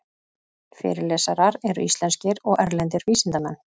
Fyrirlesarar eru íslenskir og erlendir vísindamenn